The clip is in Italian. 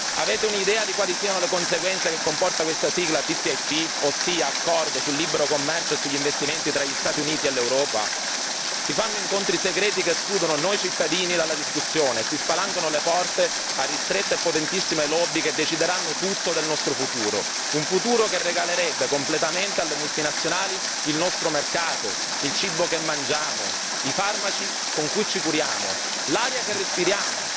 Avete un'idea di quali siano le conseguenze che comporta questa sigla TTIP, ossia accordo sul libero commercio e sugli investimenti tra gli Stati Uniti e l'Europa? Si fanno incontri segreti che escludono noi cittadini dalla discussione e si spalancano le porte a ristrette e potentissime lobby che decideranno tutto del nostro futuro, un futuro che regalerebbe completamente alle multinazionali il nostro mercato, il cibo che mangiamo, i farmaci con cui ci curiamo, l'aria che respiriamo.